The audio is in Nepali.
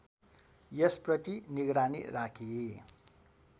यसप्रति निगरानी राखी